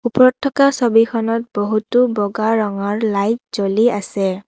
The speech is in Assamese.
ওপৰত থকা ছবিখনত বহুতো বগা ৰঙৰ লাইট জ্বলি আছে।